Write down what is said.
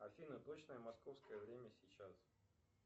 афина точное московское время сейчас